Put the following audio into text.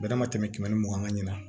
Bɛnɛ ma tɛmɛ tɛmɛ kɛmɛ ni mugan ɲɛna